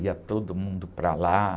Ia todo mundo para lá.